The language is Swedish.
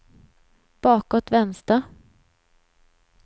bakåt vänster